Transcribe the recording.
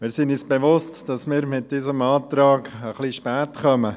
Wir sind uns bewusst, dass wir mit unserem Antrag etwas spät kommen.